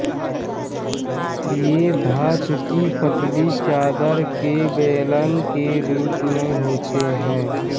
ये धातु की पतली चादर के बेलन के रूप में होते हैं